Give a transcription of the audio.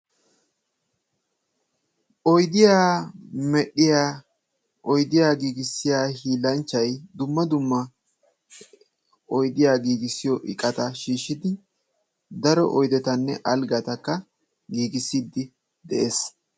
Oydiyaa medhdhiyaa oydiyaa giigisiyaa hiillanchay dumma dumma oydiyaa giigissiyoo iqaata shiishidi daro oydettanne alggata giigisiidi de'ees.